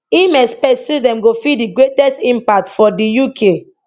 im expects say dem go feel di greatest impact for di uk